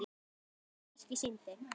Annað verkið sýndi